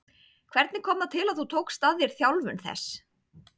Hvernig kom það til að þú tókst að þér þjálfun þess?